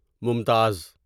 ممتاز